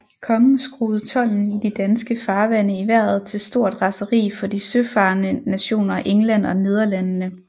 Kongen skruede tolden i de danske farvande i vejret til stort raseri for de søfarende nationer England og Nederlandene